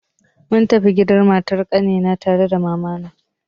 Mun tafi gidan matar ƙanina tare da mamana.